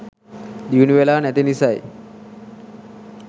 දියුණුවෙලා නැති නිසයි.